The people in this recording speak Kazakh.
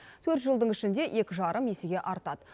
төрт жылдың ішінде екі жарым есеге артады